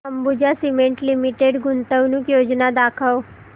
Ambuja cement limited गुंतवणूक योजना दाखव